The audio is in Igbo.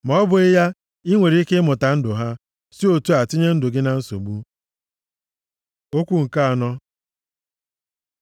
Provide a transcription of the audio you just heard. ma ọ bụghị ya, i nwere ike ịmụta ndụ ha, si otu a tinye ndụ gị na nsogbu. Okwu nke anọ